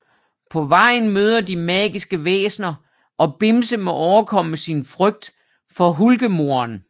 På vejen møder de magiske væsener og Bimse må overkomme sin frygt for Hulgemoren